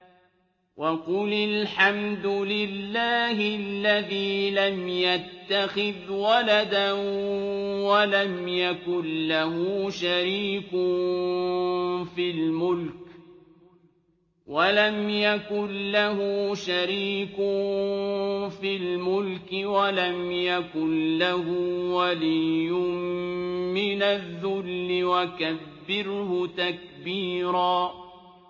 وَقُلِ الْحَمْدُ لِلَّهِ الَّذِي لَمْ يَتَّخِذْ وَلَدًا وَلَمْ يَكُن لَّهُ شَرِيكٌ فِي الْمُلْكِ وَلَمْ يَكُن لَّهُ وَلِيٌّ مِّنَ الذُّلِّ ۖ وَكَبِّرْهُ تَكْبِيرًا